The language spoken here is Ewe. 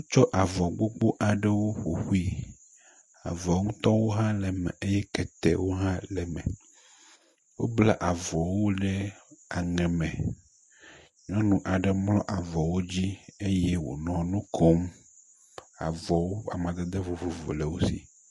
Tsɔ avɔ gbogbo aɖewo ƒoƒui. Avɔ ŋutɔwo hã le eme eye ketewo hã le eme. Wobla avɔwo ɖe aŋe me. Nyɔnu aɖe mlɔ avɔwo dzi eye wonɔ nu kom. Avɔwo amadede vovovo le wo si.